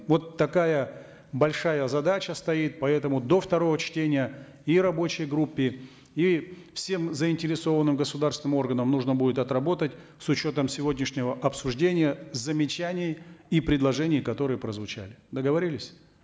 вот такая большая задача стоит поэтому до второго чтения и рабочей группе и всем заинтересованным государственным органам нужно будет отработать с учетом сегодняшнего обсуждения замечаний и предложений которые прозвучали договорились